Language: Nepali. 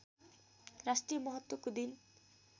राष्ट्रिय महत्त्वको दिन